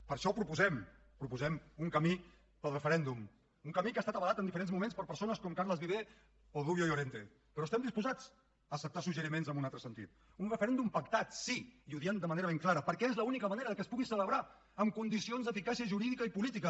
per això proposem proposem un camí pel referèndum un camí que ha estat avalat en diferents moments per persones com carles viver o rubio llorente però estem disposats a acceptar suggeriments en un altre sentit un referèndum pactat sí i ho diem de manera ben clara perquè és l’única manera que es pugui celebrar en condicions d’eficàcia jurídica i política